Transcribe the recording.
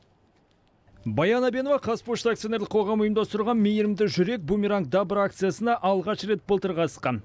баян әбенова қазпошта акционерлік қоғамы ұйымдастырған мейірімді жүрек бумеранг добра акциясына алғаш рет былтыр қатысқан